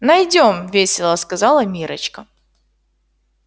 найдём весело сказала миррочка